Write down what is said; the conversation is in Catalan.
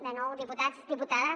de nou diputats diputades